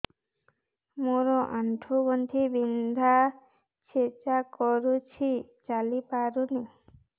ମୋର ଆଣ୍ଠୁ ଗଣ୍ଠି ବିନ୍ଧା ଛେଚା କରୁଛି ଚାଲି ପାରୁନି